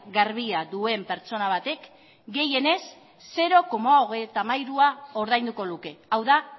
garbia duen pertsona batek gehienez zero koma hogeita hamairua ordainduko luke hau da